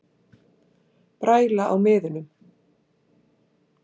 Bræla á miðunum